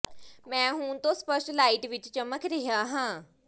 ਮੈਂ ਹੁਣ ਤੋਂ ਸਪਸ਼ਟ ਲਾਈਟ ਵਿੱਚ ਚਮਕ ਰਿਹਾ ਹਾਂ